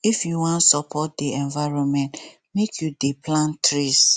if you wan support di environment make you dey plant trees